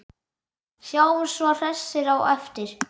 Sjáumst svo hressir á eftir.